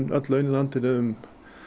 öll laun í landinu um